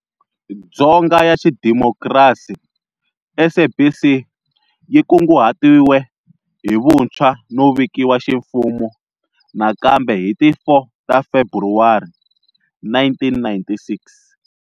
Dzonga ya xidimokrasi, SABC yi kunguhatiwe hi vuntshwa no vikiwa ximfumo nakambe hi ti 4 ta Februwari 1996.